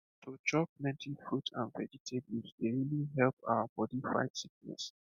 to chop plenty fruit and vegetable dey really help our body fight sickness